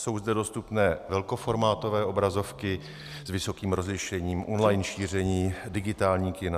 Jsou zde dostupné velkoformátové obrazovky s vysokým rozlišením, online šíření, digitální kina.